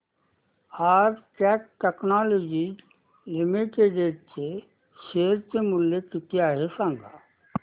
आज Cat technologies limited चे share चे मूल्य किती आहे सांगा